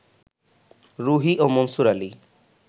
রুহী ও মনসুর আলী